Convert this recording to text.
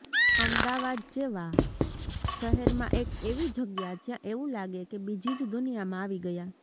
અમદાવાદ જેવા શહેરમાં એક એવી જગ્યા જ્યાં એવું લાગે કે બીજી જ દુનિયામાં આવી ગયા